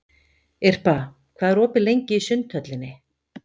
Irpa, hvað er opið lengi í Sundhöllinni?